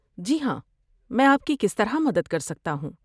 جی ہاں، میں آپ کی کس طرح مدد کر سکتا ہوں؟